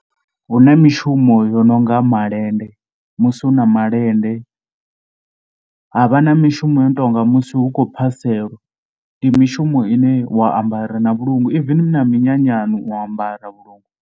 Hu na mishumo yo no nga malende musi hu na malende, ha vha na mishumo yo no tou nga musi hu khou phasela. Ndi mishumo ine wa ambara na vhulungu, even na minyanyani u ya ambara vhulungu.